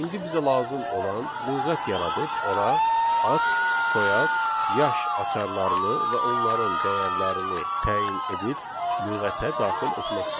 İndi bizə lazım olan lüğət yaradıb ora ad, soyad, yaş açarlarını və onların dəyərlərini təyin edib lüğətə daxil etməkdir.